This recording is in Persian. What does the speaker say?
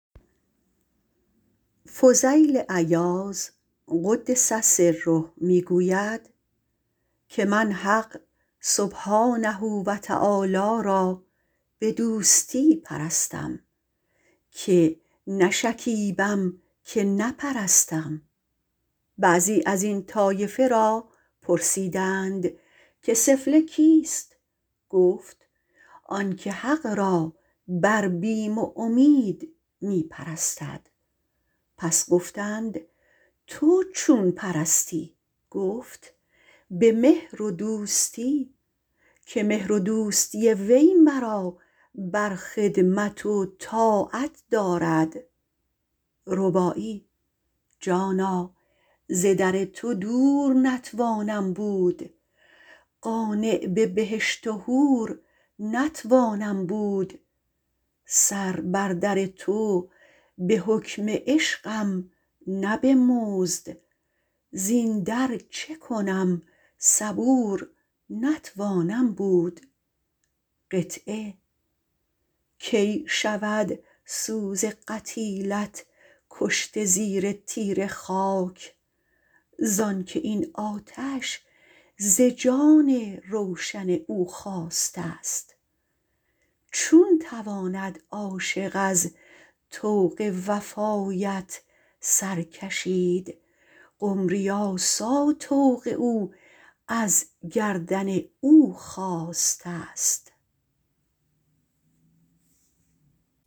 فضیل عیاض - رضی الله عنه - گوید که من حق را سبحانه به دوستی پرستم که نشکیبم که نپرستم بعضی ازین طایفه را پرسیدند که سفله کیست گفت آن که حق را بر بیم و امید پرستد پس گفتند تو چون پرستی گفت به مهر و دوستی که مهر و دوستی وی مرا بر خدمت و طاعت دارد جانا ز در تو دور نتوانم بود قانع به بهشت و حور نتوانم بود سر بر در تو به حکم عشقم نه به مزد زین در چه کنم صبور نتوانم بود کی شود سوز قتیلت کشته زیر تیره خاک زانکه این آتش ز جان روشن او خاسته ست چون تواند عاشق از طوق وفایت سر کشید قمری آسا طوق او از گردن او خاسته ست